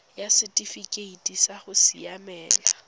ya setifikeite sa go siamela